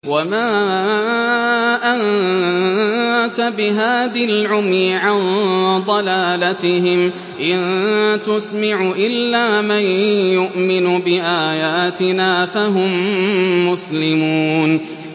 وَمَا أَنتَ بِهَادِي الْعُمْيِ عَن ضَلَالَتِهِمْ ۖ إِن تُسْمِعُ إِلَّا مَن يُؤْمِنُ بِآيَاتِنَا فَهُم مُّسْلِمُونَ